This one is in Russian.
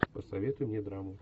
посоветуй мне драму